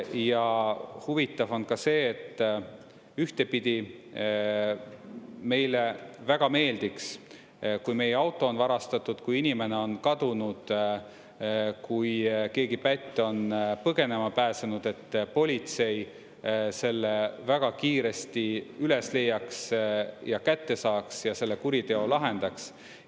Ja huvitav on ka see, et ühtpidi meile väga meeldiks, kui meie auto on varastatud, kui inimene on kadunud, kui keegi pätt on põgenema pääsenud, et politsei selle väga kiiresti üles leiaks ja kätte saaks ja selle kuriteo lahendaks.